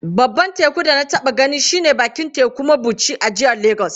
Babban bakin teku da na taba gani shi ne a bakin tekun mabuchi a jihar Legas.